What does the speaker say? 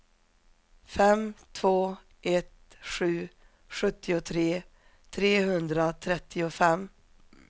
fem två ett sju sjuttiotre trehundratrettiofem